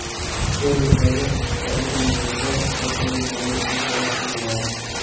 Ushbu reyslarga chipta olgan yo‘lovchilar kassaga murojaat qilishlari so‘raladi.